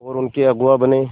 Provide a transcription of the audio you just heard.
और उनके अगुआ बने